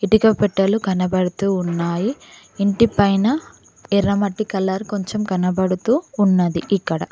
ఇటిక పెట్టెలు కనబడుతూ ఉన్నాయి ఇంటి పైన ఎర్రమట్టి కలర్ కొంచెం కనబడుతూ ఉన్నది ఇక్కడ.